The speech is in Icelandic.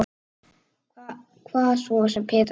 Hvað svo sem Petra segir.